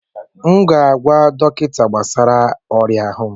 M ga-agwa dọkịta gbasara oria ahụ